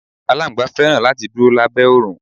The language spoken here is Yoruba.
Aláńgbá fẹ́ràn láti dúró lábẹ́ oòrùn.